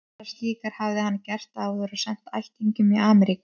Aðrar slíkar hafði hann gert áður og sent ættingjum í Amríku.